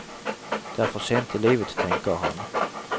Det er for sent i livet, tenker han.